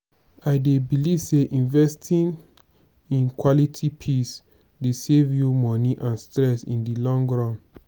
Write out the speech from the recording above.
i dey believe say investing in quality pieces dey save you money and stress in di long run.